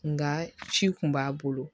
Nka ci kun b'a bolo